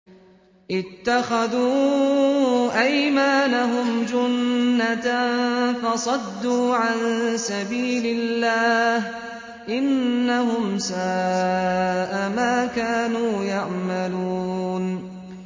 اتَّخَذُوا أَيْمَانَهُمْ جُنَّةً فَصَدُّوا عَن سَبِيلِ اللَّهِ ۚ إِنَّهُمْ سَاءَ مَا كَانُوا يَعْمَلُونَ